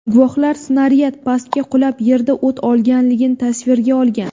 Guvohlar snaryad pastga qulab, yerda o‘t olganligini tasvirga olgan.